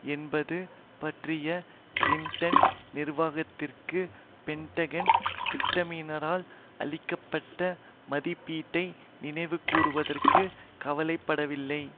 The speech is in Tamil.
என்பது பற்றிய கிளிண்டன் நிர்வாகத்திற்கு பெண்டகன் திட்டமிடுபவர்களால் அளிக்க பட்ட மதிப்பீட்டை நினைவுகூருவதற்கு கவலை படவில்லை